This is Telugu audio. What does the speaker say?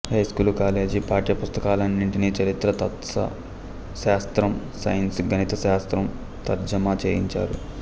హైస్కూలు కాలేజీ పాఠ్య పుస్తకాలన్నీంటిని చరిత్ర తత్వశాస్త్రం సైన్సు గణితశాస్త్రం తర్జమా చేయించారు